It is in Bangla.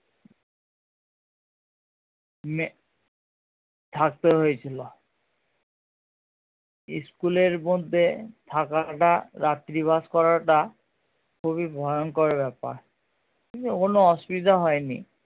থাকতে হয়েছিলো school এর মধ্যে থাকাটা রাত্রিবাস করা টা খুবই ভয়ঙ্কর ব্যাপার কিন্তু কোনো অসুবিধা হয় নি